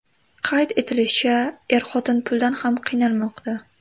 Qayd etilishicha, er-xotin puldan ham qiynalmoqda.